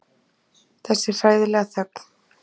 Þessi hræðilega þögn.